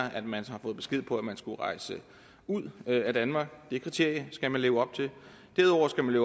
at man har fået besked på at man skulle rejse ud af danmark det kriterie skal man leve op til derudover skal man